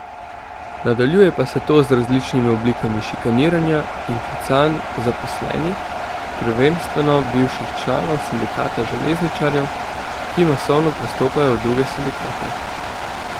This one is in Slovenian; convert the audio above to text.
Nadaljuje pa se to z različnimi oblikami s šikaniranja in klicanj zaposlenih, prvenstveno bivših članov sindikata železničarjev, ki masovno prestopajo v druge sindikate.